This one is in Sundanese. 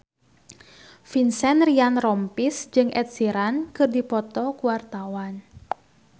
Vincent Ryan Rompies jeung Ed Sheeran keur dipoto ku wartawan